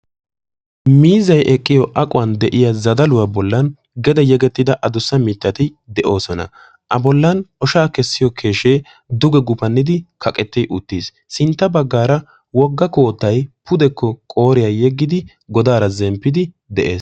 Miizzay eqqiyoo zazzaluwaa bollan gede eqqi uttida adussa mittati de'oosona. a bollan oshshaa kessiyoo keeshshee duge gufannidi kaqetti uttiis. sintta baggaara wogga koottay pudekko qooriyaa yeggidi godaara zemppidi de'ees.